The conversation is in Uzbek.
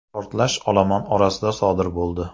Portlash olomon orasida sodir bo‘ldi.